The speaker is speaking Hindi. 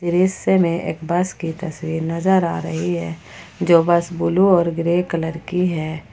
दृश्य में एक बस की तस्वीर नजर आ रही है जो बस ब्लू और ग्रे कलर की है।